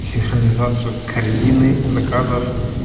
синхронизацию корзины заказов